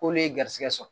K'olu ye garisɛgɛ sɔrɔ